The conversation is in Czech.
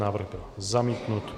Návrh byl zamítnut.